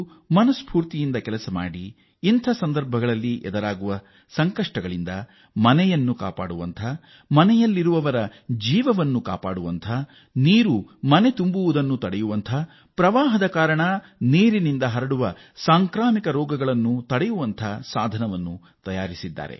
ಅಂಥ ಸನ್ನಿವೇಶದ ಬಗ್ಗೆ ಇಬ್ಬರು ಕೆಲಸ ಮಾಡಿ ಇಂಥ ವಿಕೋಪದಿಂದ ಮನೆಗಳನ್ನು ಕಾಪಾಡುವಂಥ ಆ ಮನೆಗಳಲ್ಲಿರುವವರ ಪ್ರಾಣ ಕಾಪಾಡುವಂಥ ನೀರು ಮನೆಯಲ್ಲಿ ನಿಲ್ಲುವುದನ್ನು ತಡೆಯುವಂಥ ನೀರಿನ ಪ್ರವಾಹದಿಂದ ಉಂಟಾಗುವ ಸಾಂಕ್ರಾಮಿಕ ರೋಗ ಪ್ರತಿರೋಧಿಸುವಂಥ ಮನೆಯ ವಿನ್ಯಾಸ ಮಾಡಿದ್ದಾರೆ